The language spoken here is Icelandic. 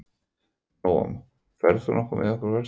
Nóam, ferð þú með okkur á föstudaginn?